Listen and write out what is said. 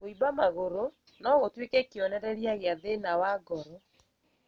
Kũimba magũrũ nogũtuĩke kĩonereria gĩa thĩna wa ngoro